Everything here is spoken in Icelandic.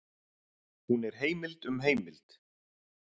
Hún er heimild um heimild.